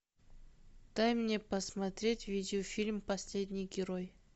дай мне посмотреть видеофильм последний герой